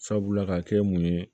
Sabula ka kɛ mun ye